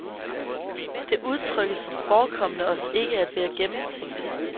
Det udtrykkes som forekommende os ikke at være gennemtænkt.